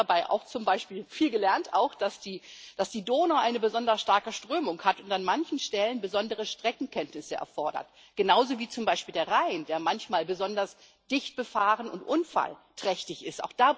Ich habe dabei auch viel gelernt, zum Beispiel, dass die Donau eine besonders starke Strömung hat und an manchen Stellen besondere Streckenkenntnisse erfordert, genauso wie zum Beispiel der Rhein, der manchmal besonders dicht befahren und unfallträchtig ist.